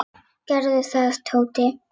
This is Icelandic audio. Gerðu það, Tóti!